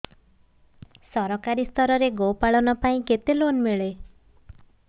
ସରକାରୀ ସ୍ତରରେ ଗୋ ପାଳନ ପାଇଁ କେତେ ଲୋନ୍ ମିଳେ